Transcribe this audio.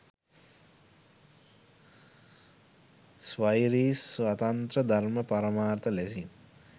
ස්වෛරී, ස්වතන්ත්‍ර, ධර්ම පරමාර්ථ ලෙසින්